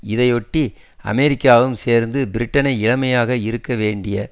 இதையொட்டி அமெரிக்காவும் சேர்த்த பிரிட்டனை இளமையாக இருக்க வேண்டிய